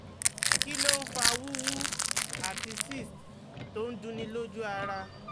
Kí ló ń fa wuwu ati cyst to n dunni loju ara?